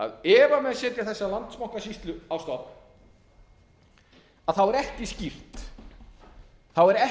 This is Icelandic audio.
að ef menn setja þessa landsbankasýslu á stofn þá er